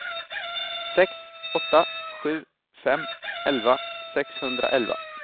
sex åtta sju fem elva sexhundraelva